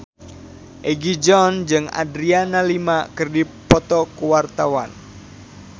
Egi John jeung Adriana Lima keur dipoto ku wartawan